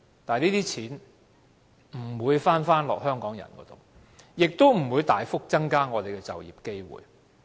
但是，這些錢不會回到香港人的口袋，亦不會大幅增加我們的就業機會。